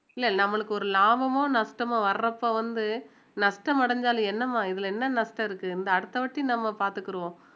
இல்லை நம்மளுக்கு ஒரு லாபமோ நஷ்டமோ வர்றப்போ வந்து நஷ்ட நஷ்டம் அடைந்தாலும் என்னம்மா இதுல என்ன நஷ்டம் இருக்கு இந்த அடுத்த வாட்டி நம்ம பார்த்துக்கிருவோம்